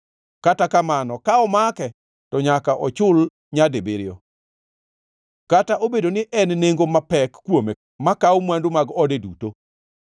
Kata kamano ka omake, to nyaka ochul nyadibiriyo, kata obedo ni en nengo mapek kuome makawo mwandu mag ode duto.